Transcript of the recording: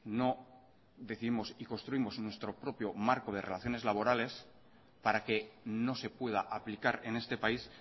no décimos y construimos nuestro propio marco de relaciones laborales para que no se pueda aplicar en este país